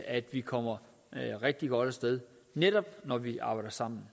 at vi kommer rigtig godt af sted netop når vi arbejder sammen